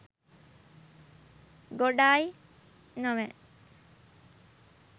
ගොඩායි නොවැ?